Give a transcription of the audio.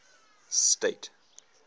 state